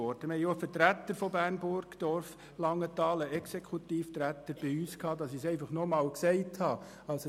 Wir hatten auch einen Exekutivvertreter der Städte Bern, Burgdorf und Langenthal in der Kommission, um dies erneut zu erwähnen.